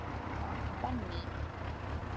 Benný